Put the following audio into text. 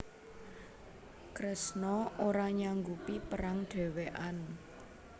Kresna ora nyanggupi perang dhewekan